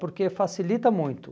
Porque facilita muito.